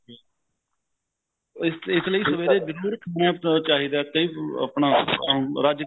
ਇਸਲਈ ਸਵੇਰੇ ਜਰੂਰ breakfast ਚਾਹਿਦਾ ਕਈ ਆਪਣਾ ਰੱਜ ਕੇ